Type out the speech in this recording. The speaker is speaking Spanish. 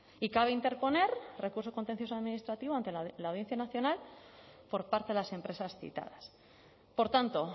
y cabe interponer recurso contencioso administrativo ante la audiencia nacional por parte de las empresas citadas por tanto